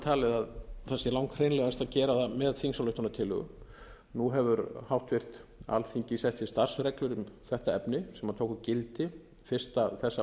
talið að það sé langhreinlegast að gera það með þingsályktunartillögu nú hefur háttvirt alþingi sett sér starfsreglur um þetta efni sem tóku gildi fyrsta þessa